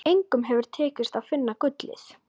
Engum hefur tekist að finna gullið.